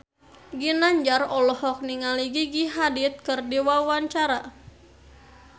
Ginanjar olohok ningali Gigi Hadid keur diwawancara